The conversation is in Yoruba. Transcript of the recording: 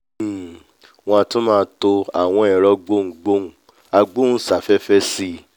um wọ́n a tún máa to àwọn ẹ̀rọ gboùngboùn agbóùnsáfẹ́fẹ́ sí